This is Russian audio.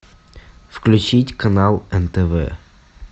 включить канал нтв